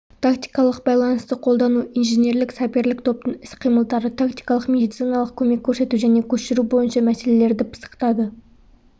тактикалық байланысты қолдану инженерлік-саперлік топтың іс-қимылдары тактикалық медициналық көмек көрсету және көшіру бойынша мәселелерді пысықтады